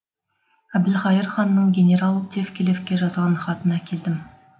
әбілқайыр ханның генерал тевкелевке жазған хатын әкелдім